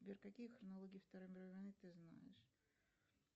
сбер какие хронологии второй мировой войны ты знаешь